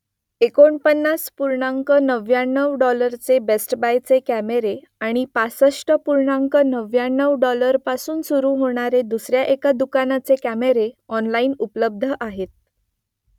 एकोणपन्नास पूर्णांक नव्व्याण्णव डॉलरचे बेस्ट बायचे कॅमेरे आणि पासष्ट पूर्णांक नव्व्याण्णव डॉलरपासून सुरू होणारे दुसऱ्या एका दुकानाचे कॅमेरे ऑनलाईन उपलब्ध आहेत